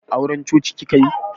Auran coci kika yi?